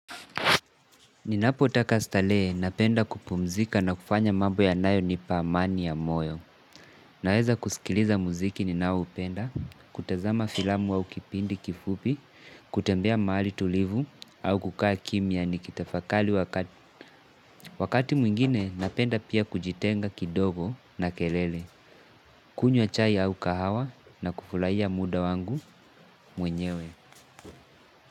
Ninapotaka starehe, napenda kupumzika na kufanya mambo yanayonipa amani ya moyo. Naweza kusikiliza muziki ninao upenda, kutazama filamu au kipindi kifupi, kutembea mahali tulivu au kukaa kimyia ni kitafakali wakati. Wakati mwingine, napenda pia kujitenga kidogo na kelele, kunywa chai au kahawa na kufulahiya muda wangu mwenyewe.